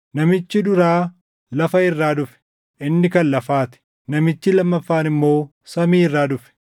Namichi duraa lafa irraa dhufe; inni kan lafaa ti; namichi lammaffaan immoo samii irraa dhufe.